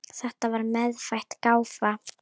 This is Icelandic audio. Þetta var meðfædd gáfa.